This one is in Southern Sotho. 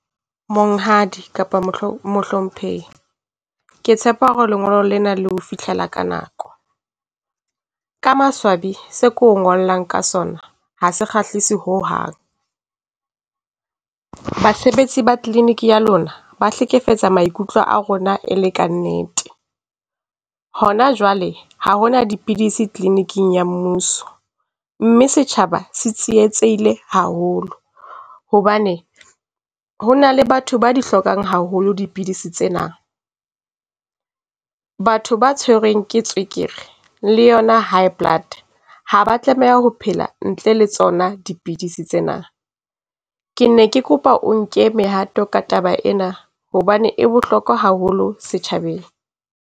Monghadi kapa mohlomphehi, ke tshepa hore lengolo lena le ho fihlela ka nako. Ka maswabi se ke o ngollang ka sona ha se kgahlise ho hang. Basebetsi ba clinic ya lona ba hlekefetsa maikutlo a rona e le ka nnete. Hona jwale ha hona dipidisi clinic-ing ya mmuso, mme setjhaba se tsietsehile haholo hobane ho na le batho ba di hlokang haholo dipidisi tsena. Batho ba tshwerweng ke tswekere le yona High Blood ha ba a tlameha ho phela ntle le tsona dipidisi tsena. Ke ne ke kopa o nke mehato ka taba ena hobane e bohlokwa haholo setjhabeng.